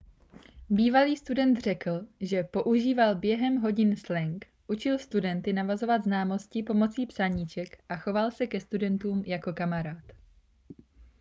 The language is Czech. bývalý student řekl že používal během hodin slang učil studenty navazovat známosti pomocí psaníček a choval se ke studentům jako kamarád